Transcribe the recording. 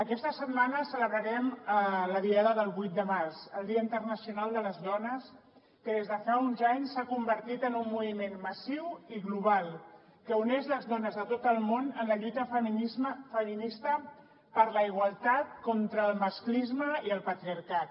aquesta setmana celebrarem la diada del vuit de març el dia internacional de les dones que des de fa uns anys s’ha convertit en un moviment massiu i global que uneix les dones de tot el món en la lluita feminista per la igualtat contra el masclisme i el patriarcat